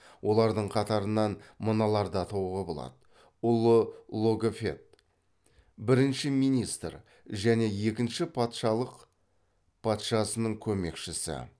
олардың қатарынан мыналарды атауға болады ұлы логофет бірінші министр және екінші патшалық патшасының көмекшісі